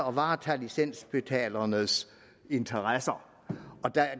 at varetage licensbetalernes interesser